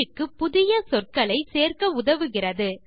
பயிற்சிக்கு புதிய சொற்களை சேர்க்க உதவுகிறது